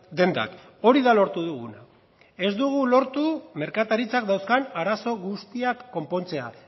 dendak hori da lortu duguna ez dugu lortu merkataritzak dauzkan arazo guztiak konpontzea